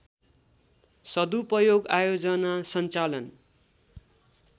सदुपयोग आयोजना सञ्चालन